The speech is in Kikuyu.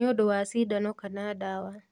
Nĩũndũ wa cindano kana ndawa